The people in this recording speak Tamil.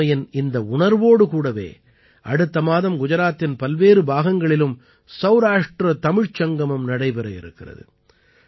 ஒற்றுமையின் இந்த உணர்வோடு கூடவே அடுத்த மாதம் குஜராத்தின் பல்வேறு பாகங்களிலும் சௌராஷ்ட்ர தமிழ்ச் சங்கமம் நடைபெற இருக்கிறது